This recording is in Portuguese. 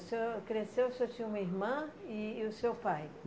O senhor cresceu, o senhor tinha uma irmã e e o seu pai?